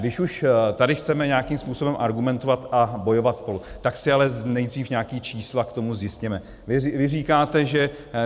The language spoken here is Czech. Když už tady chceme nějakým způsobem argumentovat a bojovat spolu, tak si ale nejdřív nějaká číslo k tomu zjistěme.